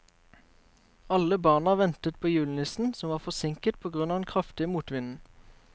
Alle barna ventet på julenissen, som var forsinket på grunn av den kraftige motvinden.